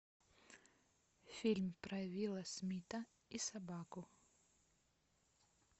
фильм про уилла смита и собаку